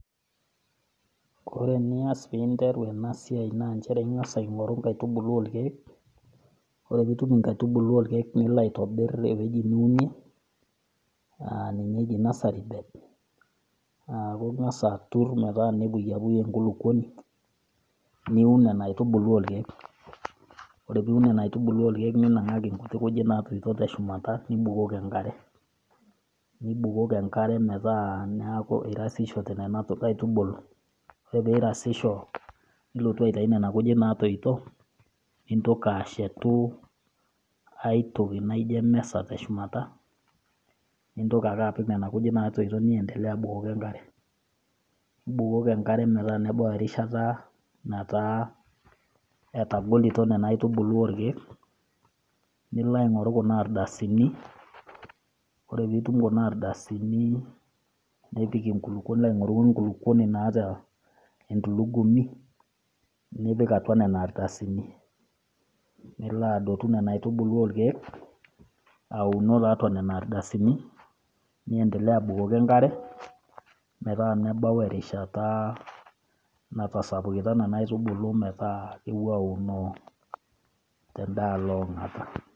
Ore enias pee interu ena siai naa nchere ing'as aing'oru inkaitubulu oo lkeek, ore pee itum inkaitubulu oo ilkeek, nilo aitobir ewueji niunie aa ninye eji nursery bed aaku ing'as atur metaa epuyapuy enkulukuoni, niun nena aitubulu o lkeek oree pee iun lelo keek ninangaki inkujit natoito, te shumata nibukoki enkare, metaa eirasishoto nena aitubulu, ore pee eirasisho nilotu aitayu nena kujit naatoito, nintoki ashetu ai toki naijo emeza te shumata, nintoki ake apik nena kujit natoito te shumata nibukoki enkare. Nibukoki enkare metaa nebau erishata nataa etagolito nena aitubulu o lkeek, nilo aing'oru kuna ardasini, ore pee itum kun ardasini, nipik inkulukwo, nilo aing'oru enkulukwoni naata entulugumi, nipik atua nena ardasini, nilo adotu nena aitubulu o lkeek aunoo tiatua nena ardasini, niendelea abukoki enkare, metaa nebau erishata natasapukita nena aitubulu ometaa kepuo aunoo tendaalo e ong'ata.